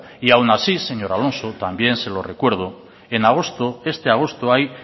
y aun así señor alonso también se lo recuerdo en agosto este agosto hay